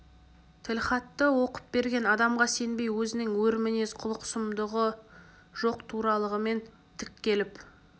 тілхатты оқып берген адамға сенбей өзінің өр мінез құлық-сұмдығы жоқ туралығымен тік келіп